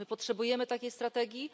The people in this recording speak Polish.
My potrzebujemy takiej strategii.